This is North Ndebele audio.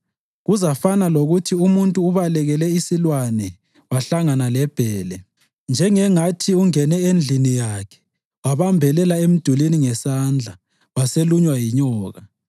Kuzafana lokuthi umuntu ubalekele isilwane wahlangana lebhele, njengangathi ungene endlini yakhe wabambelela emdulini ngesandla waselunywa yinyoka.